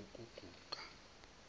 ukuguga